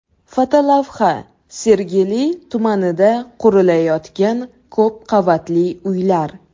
Fotolavha: Sergeli tumanida qurilayotgan ko‘p qavatli uylar .